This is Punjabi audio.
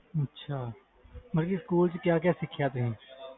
ਅੱਛਾ ਮਤਬਲ ਸਕੂਲ ਵਿਚ ਕਿ ਕਿ ਸਿੱਖਿਆ ਤੁਸੀ